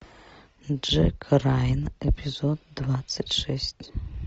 джек райан эпизод двадцать шесть